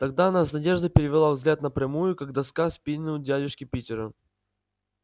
тогда она с надеждой перевела взгляд на прямую как доска спину дядюшки питера